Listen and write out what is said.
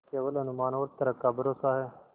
केवल अनुमान और तर्क का भरोसा है